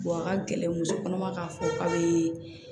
a ka gɛlɛn musokɔnɔma k'a fɔ k'a bee